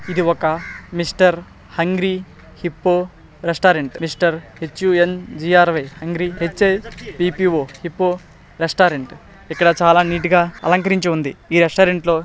ఇది ఒక Mr Hungry Hippo restaurant Mr H U N G R Y Hungry H I P P O Hippo restaurant ఇక్కడ చాలా నీట్ గా అలంకరించి ఉంది ఈ రెస్టారెంట్ లో.